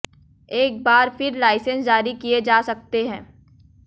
एक बार फिर लाइसेंस जारी किए जा सकते हैं